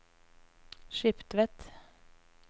Skiptvet